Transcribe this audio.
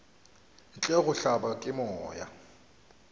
ntle go hlabja ke moya